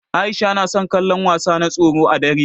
Aisha na son kallon wasa na tsoro ã dare.